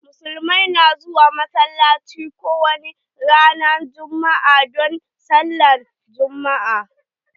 Muslimai na zuwa massalacci ko wani ranan juma'a don sallah na juma'a.